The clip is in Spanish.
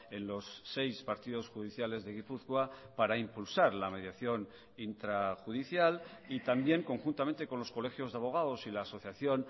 en los seis partidos judiciales de gipuzkoa para impulsar la mediación intrajudicial y también conjuntamente con los colegios de abogados y la asociación